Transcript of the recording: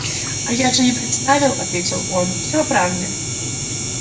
а я же и представил ответил он всё о правде